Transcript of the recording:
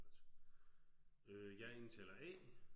Godt øh jeg indtaler A